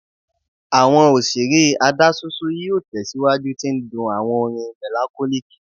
Awọn oṣere adaṣoṣo yoo tẹsiwaju ti ndun awọn orin melancholic